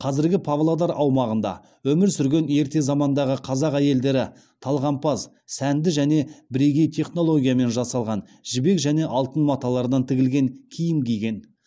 қазіргі павлодар аумағында өмір сүрген ерте замандағы қазақ әйелдері талғампаз сәнді және бірегей технологиямен жасалған жібек және алтын маталардан тігілген киім киген